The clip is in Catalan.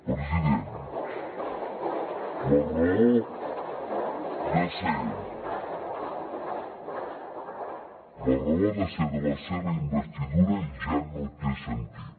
president la raó de ser de la seva investidura ja no té sentit